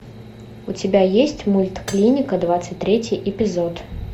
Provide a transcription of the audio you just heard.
у тебя есть мульт клиника двадцать третий эпизод